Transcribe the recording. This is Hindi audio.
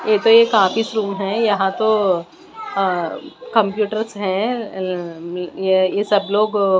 ये तो एक आफीस रूम है यहां तो अ कंप्यूटर्स है अं अं ये ये सब लोग--